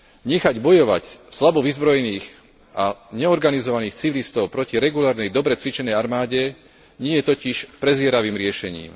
Nechať bojovať slabo vyzbrojených a neorganizovaných civilistov proti regulárnej, dobre cvičenej armáde nie je totiž prezieravým riešením.